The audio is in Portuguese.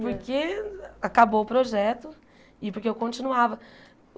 Porque acabou o projeto e porque eu continuava.